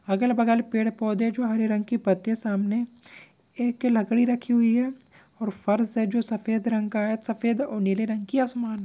अगल बगल पेड़ पौधे जो हरे रंग की पत्ती है सामने। एक लकड़ी रखी हुई है और फर्श है जो सफ़ेद रंग का है। सफेद और नीले रंग की आसमान--